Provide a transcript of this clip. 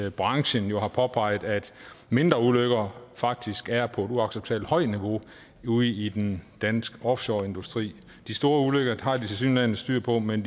at branchen har påpeget at mindre ulykker faktisk er på et uacceptabelt højt niveau ude i den danske offshoreindustri de store ulykker har de tilsyneladende styr på men